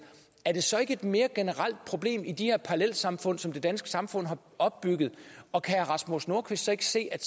er det så ikke et mere generelt problem i de her parallelsamfund som det danske samfund og og kan herre rasmus nordqvist ikke se at